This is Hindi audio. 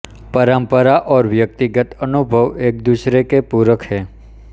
परम्परा और व्यक्तिगत अनुभव एकदूसरे के पूरक हैं